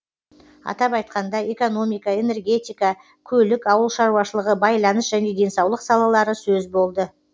атап айтқанда экономика энергетика көлік ауыл шаруашылығы байланыс және денсаулық салалары сөз болды